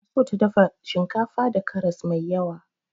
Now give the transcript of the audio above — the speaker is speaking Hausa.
Tana so ta dafa shinkafa da karas mai yawa.